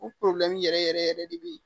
U yɛrɛ yɛrɛ yɛrɛ de bɛ yen